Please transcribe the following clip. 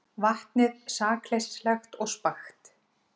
Vatnið sakleysislegt og spakt.